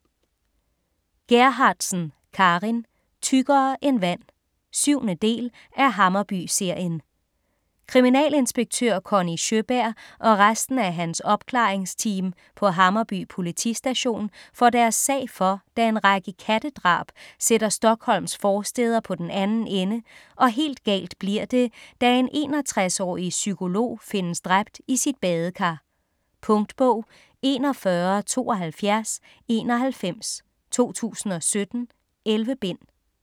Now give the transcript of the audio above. Gerhardsen, Carin: Tykkere end vand 7. del af Hammarby-serien. Kriminalinspektør Conny Sjøberg og resten af hans opklaringsteam på Hammarby politistation får deres sag for, da en række kattedrab sætter Stockholms forstæder på den anden ende, og helt galt bliver det da en 61-årig psykolog findes dræbt i sit badekar. Punktbog 417291 2017. 11 bind.